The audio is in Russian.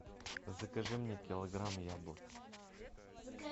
закажи мне килограмм яблок